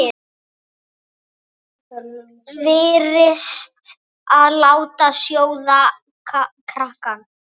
Varist að láta sjóða.